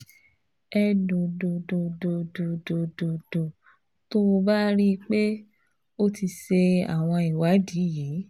Ẹ̀dòdòdòdòdòdòdò tó o bá rí i pé o ti ṣe àwọn ìwádìí yìí